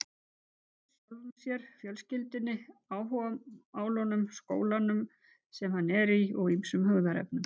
Hann lýsir sjálfum sér, fjölskyldunni, áhugamálunum, skólanum sem hann er í og ýmsum hugðarefnum.